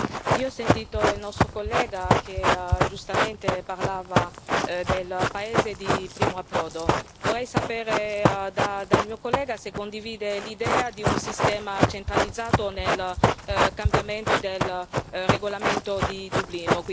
Io ho sentito il collega che, giustamente, parlava del paese di primo approdo vorrei sapere dal mio collega se condivide l'idea di un sistema centralizzato nel cambiamento del regolamento di Dublino.